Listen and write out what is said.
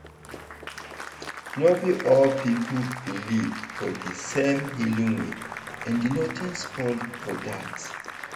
no be all people believe for di same healing way and nothing spoil for dat.